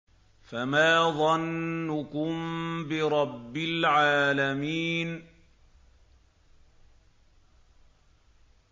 فَمَا ظَنُّكُم بِرَبِّ الْعَالَمِينَ